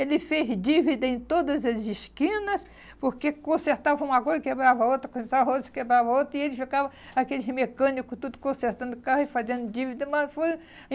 Ele fez dívida em todas as esquinas, porque consertava uma coisa e quebrava outra, consertava outra e quebrava outra, e ele ficava, aqueles mecânico, tudo consertando o carro e ele fazendo dívida.